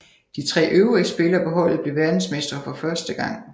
De tre øvrige spillere på holdet blev verdensmestre for første gang